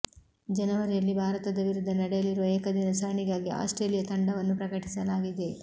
ಜನವರಿಯಲ್ಲಿ ಭಾರತ ವಿರುದ್ಧ ನಡೆಯಲಿರುವ ಏಕದಿನ ಸರಣಿಗಾಗಿ ಆಸ್ಟ್ರೇಲಿಯಾ ತಂಡವನ್ನು ಪ್ರಕಟಿಸಲಾಗಿದೆ